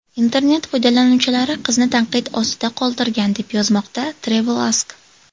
Internet foydalanuvchilari qizni tanqid ostida qoldirgan, deb yozmoqda TravelAsk.